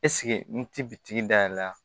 n ti biki da yɛlɛ la